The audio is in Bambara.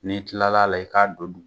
N'i kilala la i k'a don